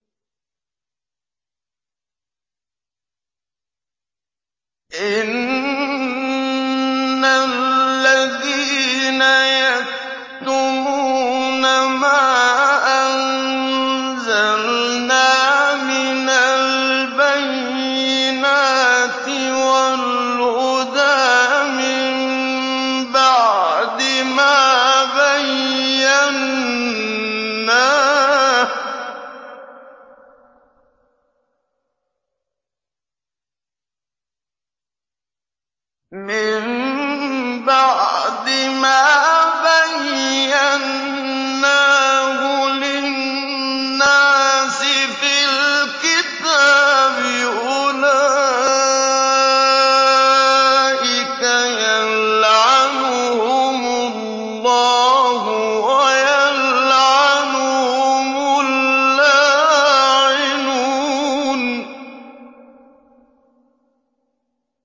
إِنَّ الَّذِينَ يَكْتُمُونَ مَا أَنزَلْنَا مِنَ الْبَيِّنَاتِ وَالْهُدَىٰ مِن بَعْدِ مَا بَيَّنَّاهُ لِلنَّاسِ فِي الْكِتَابِ ۙ أُولَٰئِكَ يَلْعَنُهُمُ اللَّهُ وَيَلْعَنُهُمُ اللَّاعِنُونَ